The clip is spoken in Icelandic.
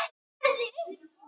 Man fólk vel?